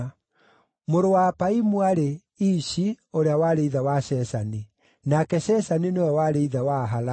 Mũrũ wa Apaimu aarĩ: Ishi, ũrĩa warĩ ithe wa Sheshani. Nake Sheshani nĩwe warĩ ithe wa Ahalai.